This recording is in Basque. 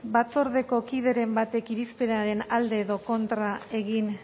batzordeko kideren batek irizpenaren alde edo kontra egin